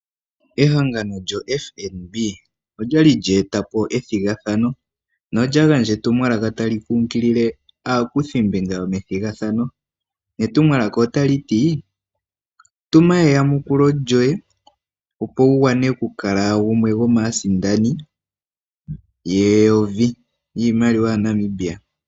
Ehangano lyo FNB olyali lye etapo ethigathano nolya gandja etumwalaka tali kunkilile aakuthimbinga yo methigathano netumwalaka otali ti, tuma eyamukulo lyoye opo wu wane okukala gumwe gomaasindani yeyovi yiimaliwa yaNamibia .